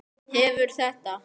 Hefur þetta gefið góða raun?